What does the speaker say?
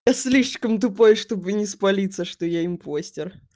слишком тупой чтобы не спалиться что я импостер